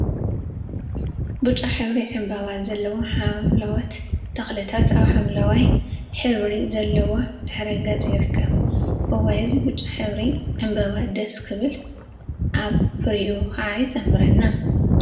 ብጫ ሕብሪ ዕምበባ ዘለዎም ሓምለዎት ተክሊታት አብ ሓምለዋይ ሕብሪ ዘለዎ ድሕረ ገፅ ይርከብ፡፡ እዋይ! እዚ ብጫ ሕብሪ ዕምበባ ደስ ክብል አብ ፍሪኡ ከዓ ይፀምረና፡፡